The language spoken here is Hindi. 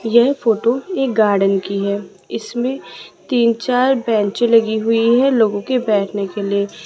यह फोटो एक गार्डन की है इसमें तीन चार बेंच लगी हुई है लोगों के बैठने के लिए।